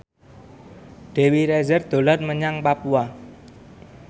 Dewi Rezer dolan menyang Papua